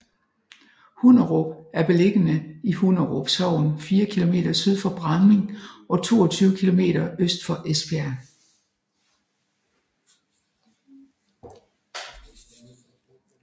Hunderup er beliggende i Hunderup Sogn fire kilometer syd for Bramming og 22 kilometer øst for Esbjerg